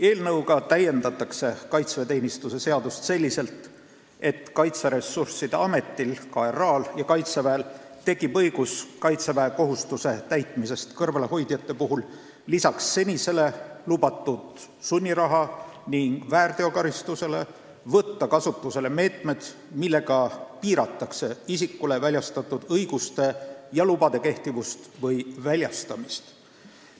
Eelnõuga täiendatakse kaitseväeteenistuse seadust selliselt, et Kaitseressursside Ametil ja Kaitseväel tekib õigus võtta kaitseväekohustuse täitmisest kõrvale hoidjate puhul lisaks seni lubatud sunnirahale ning väärteokaristusele kasutusele meetmed, millega piiratakse isikule väljastatud õiguste ja lubade kehtivust või väljastamist.